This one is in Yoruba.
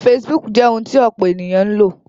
Facebook jẹ́ ohun tí ọ̀pọ̀ ènìyàn ń lò